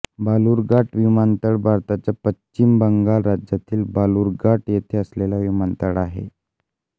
बालुरघाट विमानतळ भारताच्या पश्चिम बंगाल राज्यातील बालुरघाट येथे असलेला विमानतळ आहे